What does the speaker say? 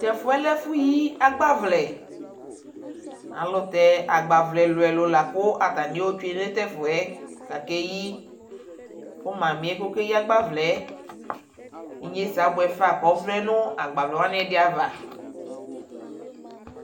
Tɛfuɛ lɛ efu yi agbavlɛ ayɛlutɛ agbavlɛ ɛluɛlu la katani ayotwe nu tɛfuɛ kakeyi ku msmiɛ kɔkeyi agbavlɛ inyesɛ abuɛfa kɔvlɛ nagbavlɛwani ɛdiava